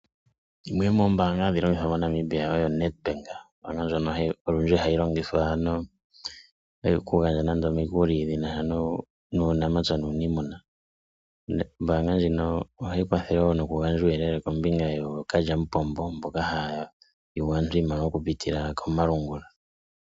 Yimwe yomoombanga dhoka hadhi longithwa moNamibia oyo NedBank, olundji hayi longithwa ano nando oku gandja omikuli dhi nasha nuunapya nuunimuna. Ombaga ndjika ohayi kwathele noku gandja uuyelele kombinga yookalyamupombo mboka haya yugu aantu iimaliwa oku pitila komalungula.